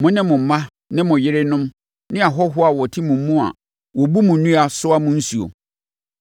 mo ne mo mma ne mo yerenom ne ahɔhoɔ a wɔte mo mu a wɔbu mo nnua, soa mo nsuo.